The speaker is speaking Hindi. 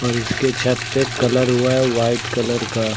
और इसके छत पे कलर हुआ है वाइट कलर का।